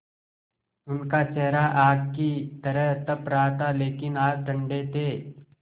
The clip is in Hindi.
उनका चेहरा आग की तरह तप रहा था लेकिन हाथ ठंडे थे